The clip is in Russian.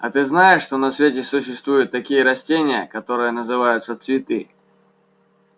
а ты знаешь что на свете существуют такие растения которые называются цветы